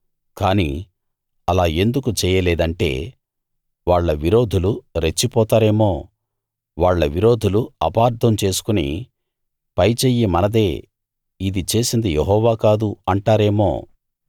కానీ అలా ఎందుకు చెయ్యలేదంటే వాళ్ళ విరోధులు రెచ్చిపోతారేమో వాళ్ళ విరోధులు అపార్థం చేసుకుని పైచెయ్యి మనదే ఇది చేసింది యెహోవా కాదు అంటారేమో